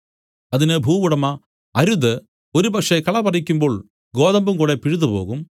അതിന് ഭൂവുടമ അരുത് ഒരുപക്ഷേ കള പറിക്കുമ്പോൾ ഗോതമ്പും കൂടെ പിഴുതുപോകും